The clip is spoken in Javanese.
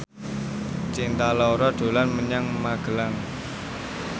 Cinta Laura dolan menyang Magelang